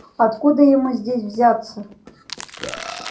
откуда ему здесь взяться